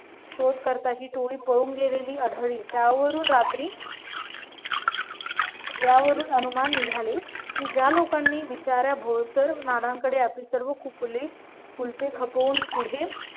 शोधकर्ता ही टोळी पळून गेलेली आढळली त्यावरून रात्री. त्यावरून अनुमान निघाले की ज्या लोकांनी विचारा भोळा मानांकडे. कुलपे खपवून पुढे